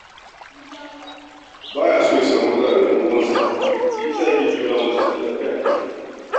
Ba ya so ya samu matsala da ‘yan uwansa, shi ya sa yake tura musu kuɗi a-kai-a-kai.